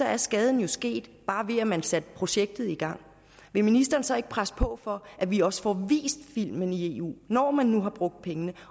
er skaden jo sket bare ved at man har sat projektet i gang vil ministeren så ikke presse på for at vi også får vist filmen i eu når man nu har brugt pengene